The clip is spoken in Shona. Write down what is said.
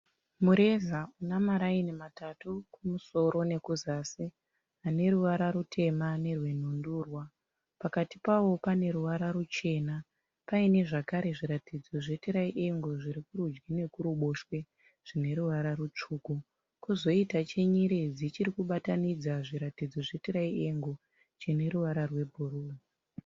Mureza una maraini matatu kumusoro nekuzasi. Ane ruvara rutema nerwenhundurwa. Pakati pawo pane ruvara ruchena, paine zvakare zviratidzo zvetiraiengoro zviri kurudyi nekuruboshwe zvine ruvara rutsvuku. Kwozoita chenyeredzi chiri kubatanidza zviratidzo zvetiraiengoro chine ruvara rwebhuruu.